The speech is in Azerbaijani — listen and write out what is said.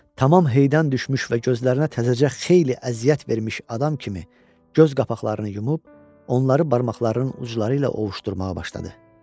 Tamam heydən düşmüş və gözlərinə təzəcə xeyli əziyyət vermiş adam kimi göz qapaqlarını yumub, onları barmaqlarının ucları ilə ovuşdurmağa başladı.